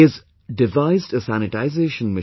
Their substitutes can easily be manufactured in India